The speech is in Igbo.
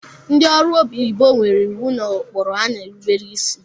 Ndị ọrụ onyibo nwere iwu na ụkpụrụ ha na-erubere isi